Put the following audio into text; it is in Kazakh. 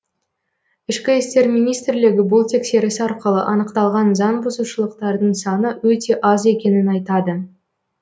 ішкі істер министрлігі бұл тексеріс арқылы анықталған заң бұзушылықтардың саны өте аз екенін айтады